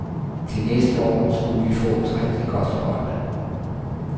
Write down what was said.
Til næste år skulle vi få et rigtigt godt hold.